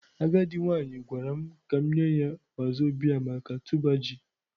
Agadi nwanyi gwaram ka m nye ya wazobia maka tuber ji.